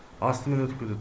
астымен өтіп кетеді